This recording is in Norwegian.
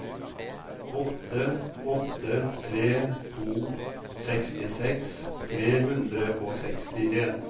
åtte åtte tre to sekstiseks tre hundre og sekstien